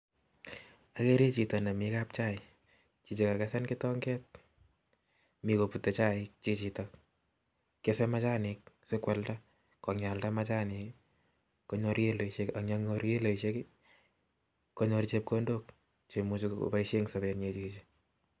Agere Chito nemitei kapchai kakesen. kitonget me kopute chaiik chichotok aldaia machanik sigonyor kiloishek asigopit konyor chepkondok sigopaishe Eng sabet nyii